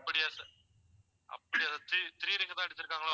அப்படியா sir அப்படியா sir three three ring தான் அடிச்சிருக்காங்களோ